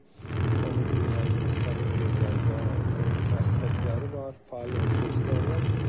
Onun dünyanın müxtəlif yerlərdə mərkəzləri var, fəaliyyət göstərirlər.